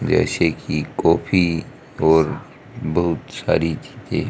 जैसे कि कॉफी और बहुत सारी चीजें--